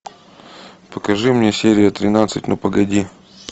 покажи мне серия тринадцать ну погоди